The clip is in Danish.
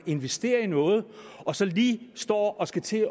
investerer i noget og så lige står og skal til